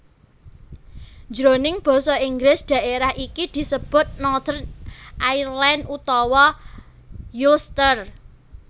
Jroning basa Inggris daerah iki disebut Northern Ireland utawa Ulster